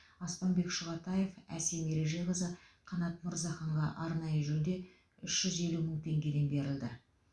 аспанбек шұғатаев әсем ережеқызы қанат мырзаханға арнайы жүлде үш жүз елу мың теңгеден берілді